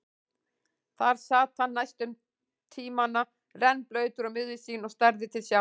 Þar sat hann næstu tímana, rennblautur og miður sín og starði til sjávar.